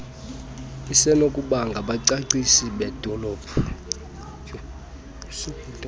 isenokuba ngabacwangcisi bedolophu